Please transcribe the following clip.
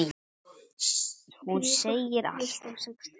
Hún segir allt.